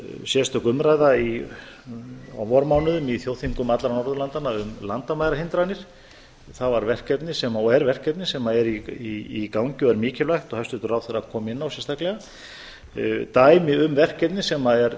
sérstök umræða á vormánuðum í þjóðþingum allra norðurlandanna um landamærahindranir það var verkefni og er verkefni sem er í gangi og er mikilvægt og hæstvirtur ráðherra kom inn á sérstaklega dæmi um verkefni sem er